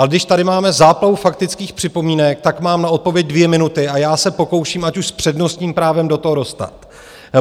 Ale když tady máme záplavu faktických připomínek, tak mám na odpověď dvě minuty a já se pokouším, ať už s přednostním právem, do toho dostat.